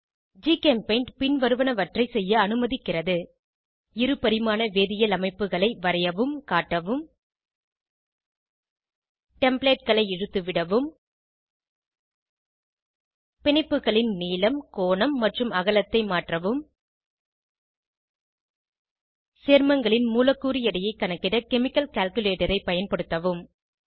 ஜிகெம்பெய்ண்ட் பின்வருவனவற்றை செய்ய அனுமதிக்கிறது இரு பரிமாண வேதியியல் அமைப்புகளை வரையவும் காட்டவும் templateகளை இழுத்து விடவும் பிணைப்புகளின் நீளம் கோணம் மற்றும் அகலத்தை மாற்றவும் சேர்மங்களின் மூலக்கூறு எடையை கணக்கிட கெமிக்கல் கால்குலேட்டர் ஐ பயன்படுத்தவும்